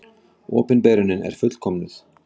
Opinberunin er fullkomnuð.